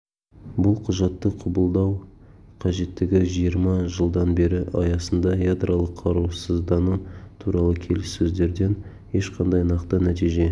бұл құжатты қабылдау қажеттігі жиырма жылдан бері аясында ядролық қарусыздану туралы келіссөздерден ешқандай нақты нәтиже